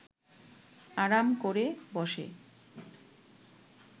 আরাম ক’রে বসে